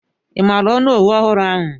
Ị maara onowu ọhụrụ ahụ?